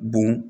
Bon